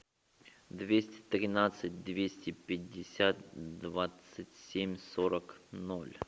двести тринадцать двести пятьдесят двадцать семь сорок ноль